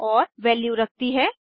और वैल्यू रखती है